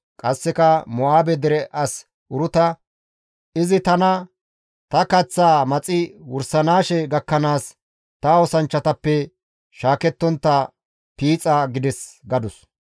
Qasseka Mo7aabe dere as Uruta, «Izi tana, ‹Ta kaththaa maxi wursanaashe gakkanaas ta oosanchchatappe shaakettontta piixa› gides» gadus.